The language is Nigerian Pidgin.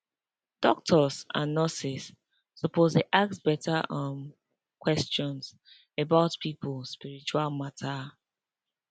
doctors and nurses suppose dey ask better um question about people spiritual matter